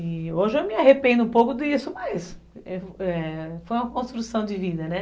E hoje eu me arrependo um pouco disso, mas foi uma construção de vida, né?